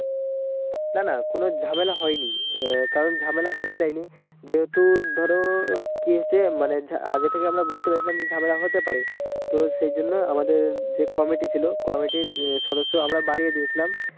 না না কোনো ঝামেলা হয়নি আহ কারণ ঝামেলা হতে দেয় নি যেহুতু ধরো কিহচ্ছে মানে ঝা আগে থেকে আমরা বুজতে পেরেছিলাম যে ঝামেলাহতে পারে তো সেই জন্য আমাদের যে কমিটি ছিল কমিটির সদস্য আমরা বাড়িয়ে দিয়েছিলাম